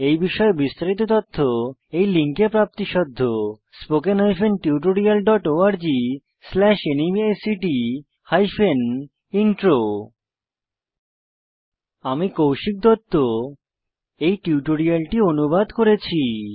এই বিষয়ে বিস্তারিত তথ্য এই লিঙ্কে প্রাপ্তিসাধ্য spoken hyphen tutorial dot org slash NMEICT hyphen intro আমি কৌশিক দত্ত এই টিউটোরিয়ালটি অনুবাদ করেছি